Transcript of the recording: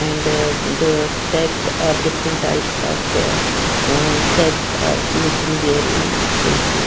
And the set or different types of uh sets are looking there in statue.